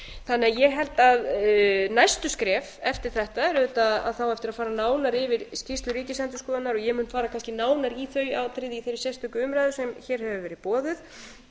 þannig að ég held að næstu skref eftir þetta er auðvitað að það á eftir að fara nánar yfir skýrslu ríkisendurskoðunar og ég mun fara kannski nánar í þau í þeirri sérstöku umræðu sem hér hefur verið boðuð